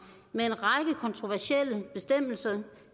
med en række kontroversielle bestemmelser